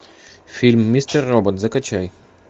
фильм мистер робот закачай